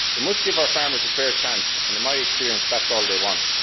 We must give our farmers a fair chance and, in my experience, that is all they want.